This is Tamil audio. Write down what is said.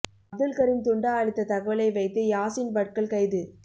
அப்துல் கரீம் துண்டா அளித்த தகவலை வைத்து யாசின் பட்கல் கைது